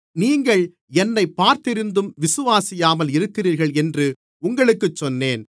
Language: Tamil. நீங்கள் என்னைப் பார்த்திருந்தும் விசுவாசியாமல் இருக்கிறீர்கள் என்று உங்களுக்குச் சொன்னேன்